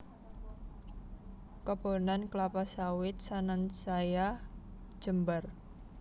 Kebonan klapa sawit sansaya jembar